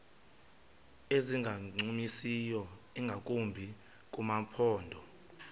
ezingancumisiyo ingakumbi kumaphondo